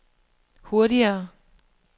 hurtigere